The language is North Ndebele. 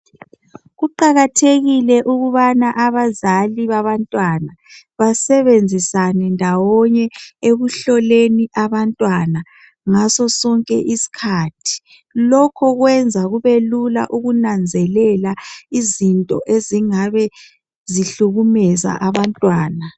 Kuqakathekile ukubana abazali babantwana basebenzisane ndawonye ekuhloleni abantwana ngaso sonke isikhathi. Lokho kwenza kubelula ukunanzelela izinto ezingabe zihlukumeza abantwana.